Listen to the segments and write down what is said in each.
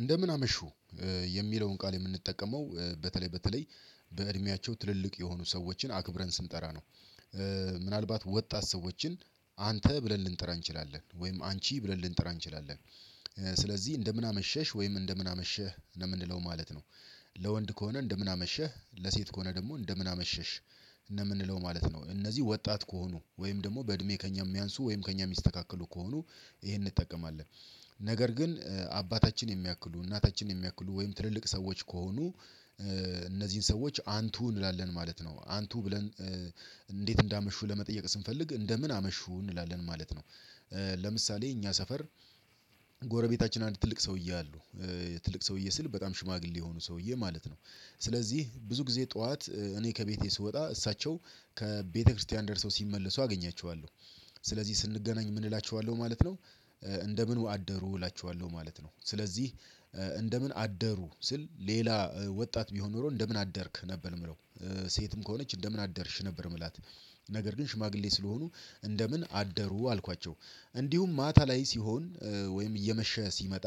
እንደምን አመሹ የሚለውን ቃል የምንጠቀመው በተለይ በተለይ በእድሜያቸው ትልልቅ የሆኑ ሰዎችን አክብረን ስንጠራ ነው። ምናልባት ወጣት ሰዎችን አንተ ብለን ልንጠራ እንችላለን ወይም አንቺ ብለን ልንጥራ እንችላለን። ስለዚህ እንደምን አመሸሽ ወይም እንደምን አመሸህ ለምንለው ማለት ነው። ለወንድ ከሆነ እንደምን አመሸህ ለሴት ከሆነ ደግሞ እንደምን አመሸሽ እንደምንለው ማለት ነው። እነዚህ ወጣት ከሆኑ ወይም ደግሞ በእድሜ ከእኛ የሚያንስ ወይም ከእኛ የሚስተካከሉ ከሆኑ ይሄን እንጠቀማለን። ነገር ግን አባታችን የሚያክሉ እናታችን የሚያክሉ ወይም ትልልቅ ሰዎች ከሆኑ። እነዚህን ሰዎች አንቱ እንላለን ማለት ነው አንቱ ብለን። እንዴት እንዳመሹ ለመጠየቅ ስንፈልግ እንደምን አመሹ እንላለን ማለት ነው። ለምሳሌ እኛ ሰፈር ጎረቤታችን አንድ ትልቅ ሰውዬ አሉ ትልቅ ሰውዬ ስል በጣም ሽማግሌ የሆኑ ሰውዬ ማለት ነው። ስለዚህ ብዙ ጊዜ ጥዋት እኔ ከቤቴ ስወጣ እሳቸው ከቤተክርስቲያን ደርሰው ሲመለሱ አገኛቸዋለሁ። ስለዚህ ስንገናኝ ምን እላቸዋለሁ ማለት ነው እንደምን አደሩ እላቸዋለሁ ማለት ነው። ስለዚህ እንደምን አደሩ ስል ሌላ ወጣት ቢሆን ኖሮ እንደምን አደርክ ነበር ምለው። ሴትም ከሆነች እንደምን አደርሽ ነበር ምላት። ነገር ግን ሽማግሌ ስለሆኑ እንደምን አደሩ አልኳቸው። እንዲሁም ማታ ላይ ሲሆን ወይም እየመሸ ሲመጣ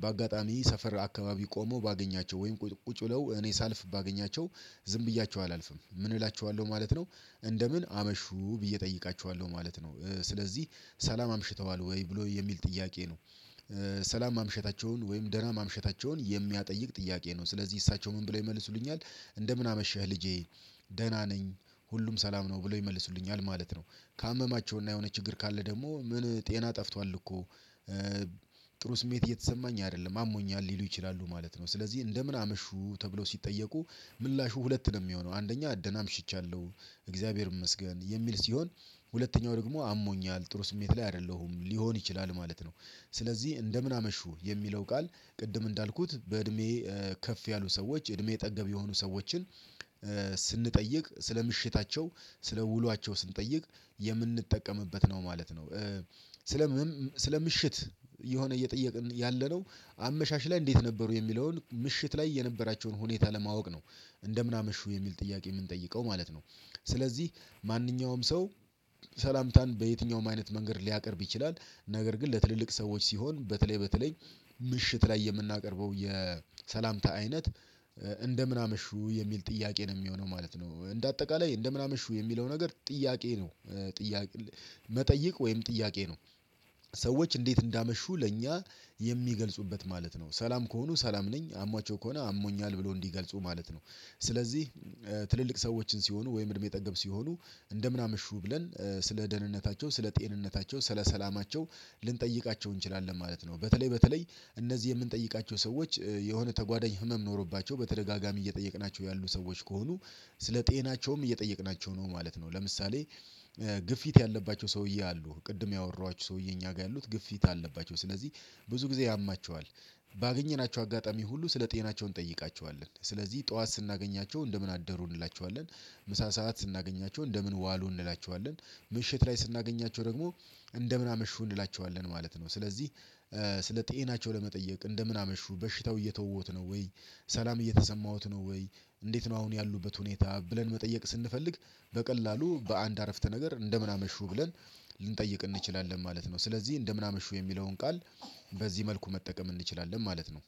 በአጋጣሚ ሰፈር አካባቢ ቆሞ ባገኛቸው ወይም ቁጭ ቁጭ ብለው እኔ ሳልፍ ባገኛቸው ዝም ብያቸው አላልፍም ምን እላችኋለሁ ማለት ነው። እንደምን አመሹ ብዬ እጠይቃችኋለሁ ማለት ነው ስለዚህ ሰላም አምሽተዋል ወይ ብሎ የሚል ጥያቄ ነው። ሰላም ማምሸታቸውን ወይም ደህና ማምሸታቸውን የሚያጠይቅ ጥያቄ ነው ስለዚህ እሳቸው ምን ብለው ይመልሱልኛል። እንደምን አመሽህ ልጄ ደህና ነኝ ሁሉም ሰላም ነው ብለው ይመልሱልኛል ማለት ነው። ካመማቸውና የሆነ ችግር ካለ ደግሞ ምን ጤና ጠፍቷል እኮ? ጥሩ ስሜት እየተሰማኝ አይደለም አሞኛል ሊሉ ይችላሉ ማለት ነው። ስለዚህ እንደምን አመሹ ተብለው ሲጠየቁ ምላሹ ሁለት ነው ሚሆነው አንደኛ ደና አምሽቻለሁ። እግዚአብሔር ይመስገን የሚል ሲሆን ሁለተኛው ደግሞ አሞኛል ጥሩ ስሜት ላይ አይደለሁም ሊሆን ይችላል ማለት ነው። ስለዚህ እንደምን አመሹ የሚለው ቃል ቅድም እንዳልኩት በእድሜ ከፍ ያሉ ሰዎች እድሜ ጠገብ የሆኑ ሰዎችን ስንጠይቅ ስለ ምሽታቸው ስለ ውሏቸው ስንጠይቅ የምንጠቀምበት ነው ማለት ነው። ስለ ስለ ምሽት የሆነ እየጠየቅን ያለነው አመሻሽ ላይ እንዴት ነበሩ የሚለውን ምሽት ላይ የነበራቸውን ሁኔታ ለማወቅ ነው። እንደምን አመሹ የሚል ጥያቄ የምንጠይቀው ማለት ነው። ስለዚህ ማንኛውም ሰው ሰላምታን በየትኛውም አይነት መንገድ ሊያቀርብ ይችላል። ነገር ግን ለትልልቅ ሰዎች ሲሆን በተለይ በተለይ ምሽት ላይ የምናቀርበው የሰላምታ አይነት እንደምን አመሹ የሚል ጥያቄ ነው ሚሆነው ማለት ነው። እንደ አጠቃላይ እንደምን አምሹ የሚለው ነገር ጥያቄ ነው? ጥያቄ መጠየቅ ወይም ጥያቄ ነው። ሰዎች እንዴት እንዳመሹ ለእኛ የሚገልጹበት ማለት ነው ሰላም ከሆኑ ሰላም ነኝ አሟቸው ከሆነ አሞኛል ብሎ እንዲገልጹ ማለት ነው። ስለዚህ ትልልቅ ሰዎችን ሲሆኑ ወይም እድሜ ጠገብ ሲሆኑ እንደምን አምሹ ብለን ስለ ደህንነታቸው ስለ ጤንነታቸው ስለ ሰላማቸው ልንጠይቃቸው እንችላለን ማለት ነው። በተለይ በተለይ እነዚህ የምንጠይቃቸው ሰዎች የሆነ ተጓዳኝ ህመም ኖሮባቸው በተደጋጋሚ እየጠየቅናቸው ያሉ ሰዎች ከሆኑ ስለ ጤናቸውም እየጠየቅናቸው ነው ማለት ነው። ለምሳሌ ግፊት ያለባቸው ሰውዬ አሉ ቅድም ያወራኋችሁ ሰውዬ እኛ ጋር ያሉት ግፊት አለባቸው ስለዚህ ብዙ ጊዜ ያማቸዋል። ባገኘናቸው አጋጣሚ ሁሉ ስለ ጤናቸው እንጠይቃቸዋለን ስለዚህ ጠዋት ስናገኛቸው እንደምን አደሩ እንላቸዋለን። ምሳ ሰዓት ስናገኛቸው እንደምን ዋሉ እንላቸዋለን። ምሽት ላይ ስናገኛቸው ደግሞ እንደምን አመሹ እንላቸዋለን ማለት ነው። ስለዚህ ስለ ጤናቸው ለመጠየቅ እንደምን አመሹ በሽታው እየተወዎት ነው ወይ ሰላም እየተሰማዎት ነው ወይ? እንዴት ነው አሁን ያሉበት ሁኔታ ብለን መጠየቅ ስንፈልግ? በቀላሉ በአንድ አረፍተ ነገር እንደምን አመሹ ብለን ልንጠይቅ እንችላለን ማለት ነው። ስለዚህ እንደምን አመሹ የሚለውን ቃል በዚህ መልኩ መጠቀም እንችላለን ማለት ነው።